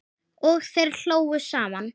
Og þeir hlógu saman.